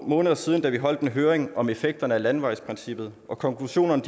måneder siden da vi holdt en høring om effekterne af landevejsprincippet og konklusionen